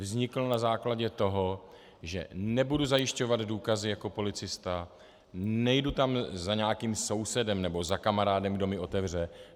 Vznikl na základě toho, že nebudu zajišťovat důkazy jako policista, nejdu tam za nějakým sousedem nebo za kamarádem, kdo mi otevře.